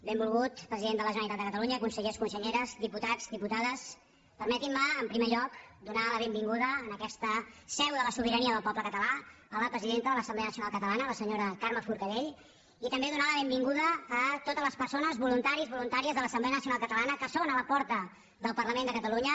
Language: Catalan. benvolgut president de la generalitat de catalunya consellers conselleres diputats diputades permetin me en primer lloc donar la benvinguda a aquesta seu de la sobirania del poble català a la presidenta de l’assemblea nacional catalana la senyora carme forcadell i també donar la benvinguda a totes les persones voluntaris voluntàries de l’assemblea nacional catalana que són a la porta del parlament de catalunya